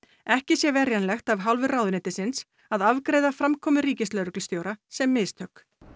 ekki sé verjanlegt af hálfu ráðuneytisins að afgreiða framkomu ríkislögreglustjóra sem mistök